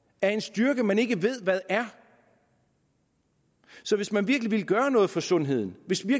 af en styrke man ikke ved hvad er så hvis man virkelig vil gøre noget for sundheden hvis